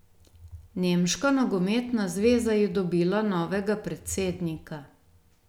Nemška nogometna zveza je dobila novega predsednika.